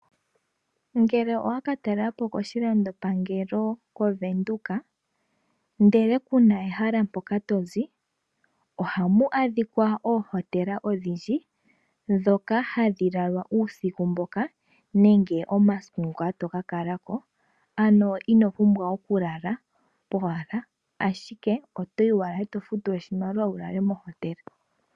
Ngele owa ka talela po koshilandopangelo koVenduka ndele kuna ehala mpoka to zi, ohamu adhikwa oohotela odhindji dhoka hadhi lalwa uusiku mboka nenge omasiku ngoka to ka kala ko. Ano ino pumbwa okulala powala ashike oto yi wala, e to futu oshimaliwa wu lale mohotela.